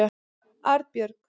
Arnbjörg